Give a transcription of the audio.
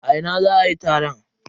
A ina za a yi taron?